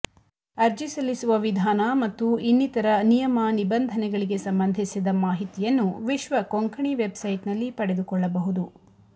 ಅರ್ಜಿ ಸಲ್ಲಿಸುವ ವಿಧಾನ ಮತ್ತು ಇನ್ನಿತರ ನಿಯಮ ನಿಬಂಧನೆಗಳಿಗೆ ಸಂಬಂಧಿಸಿದ ಮಾಹಿತಿಯನ್ನು ವಿಶ್ವ ಕೊಂಕಣಿ ವೆಬ್ ಸೈಟ್ನಲ್ಲಿ ಪಡೆದುಕೊಳ್ಳಬಹುದು